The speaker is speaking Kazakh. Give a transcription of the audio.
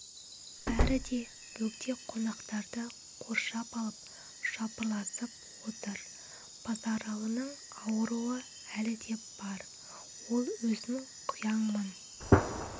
бәрі де бөгде қонақтарды қоршап алып жапырласып отыр базаралының ауруы әлі де бар ол өзін құяңмын